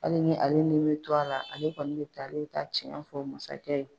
Hali ni ale ni bi to a la ale kɔni mi taa ale bi taa cɛn fɔ masakɛ ye.